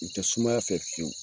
U tɛ sumaya fɛ fiyewu